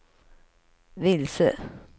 vilse